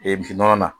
misi nɔnɔ na